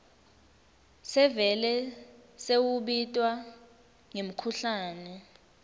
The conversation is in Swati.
sevele sewubitwa ngemkhuhlane